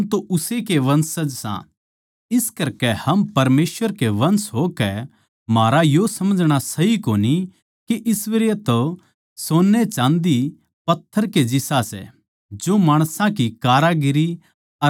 इस करकै म्ह परमेसवर का वंश होकै म्हारा यो समझणा सही कोनी के ईश्वरत्व सोन्नेचाँदी पत्थर के जिसा सै जो माणसां की कारीगरी अर कल्पना तै गढ़े गये हों